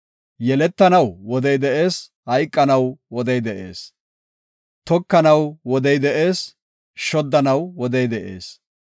Yeletanaw wodey de7ees; hayqanaw wodey de7ees. Tokanaw wodey de7ees; Shoddanaw wodey de7ees.